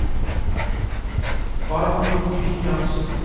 Barbro Christiansen